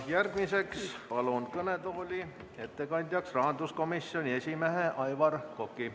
Järgmiseks palun kõnetooli ettekandjaks rahanduskomisjoni esimehe Aivar Koka.